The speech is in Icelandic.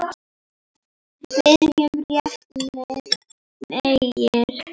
Byrjum réttum megin.